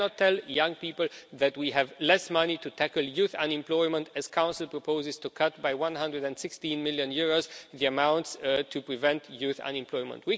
We cannot tell young people that we have less money to tackle youth unemployment as the Council proposes to cut by EUR 116 million the amounts allocated to preventing youth unemployment.